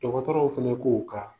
Dɔgɔtɔrɔw fana k'u kan